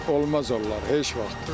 Olmaz onlar heç vaxt.